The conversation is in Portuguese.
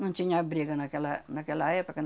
Não tinha abrigo naquela naquela época.